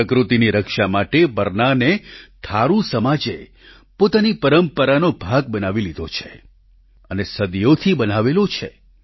પ્રકૃતિની રક્ષા માટે બરનાને થારૂ સમાજે પોતાની પરંપરાનો ભાગ બનાવી લીધો છે અને સદીઓથી બનાવેલો છે